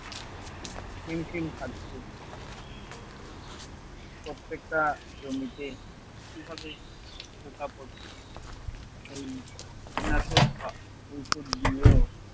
হিমশিম ‍খাচ্ছে প্রত্যেকটা জমিতে কীভাবে পোকা পরছে এই কীটনাশক দিয়েও